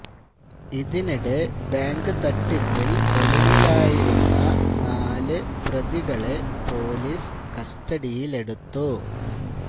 ഇതിനിടെ ബാങ്ക് തട്ടിപ്പില് ഒളിവിലായിരുന്ന നാല് പ്രതികളെ പൊലീസ് കസ്റ്റഡിയിലെടുത്തു